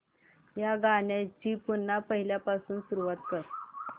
या गाण्या ची पुन्हा पहिल्यापासून सुरुवात कर